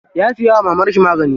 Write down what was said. Ya siya wa mamarshi magani.